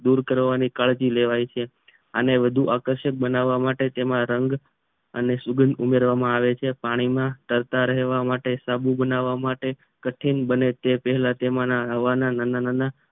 દૂર કરવાની કાળજી લેવાય છે અને વધુ આકર્ષક બનાવવા માટે તેમાં રંગ અને સુગંધ ઉમેરવામાં આવે છે પાણી માં તરતા રહવા માટે સાબુ બનાવવા માટે કઠિન બને તે પહેલા તેમાં નાના નાના